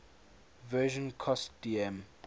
version cost dm